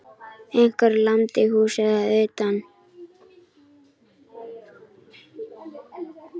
Einhver lamdi húsið að utan.